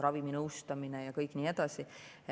Raviminõustamine ja kõik nii edasi.